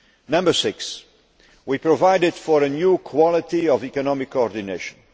Number six we provided for a new quality of economic coordination.